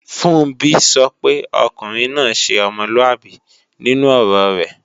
Funbí sọ pé ọkùnrin náà ṣe ọmọlúàbí nínú ọ̀rọ rẹ̀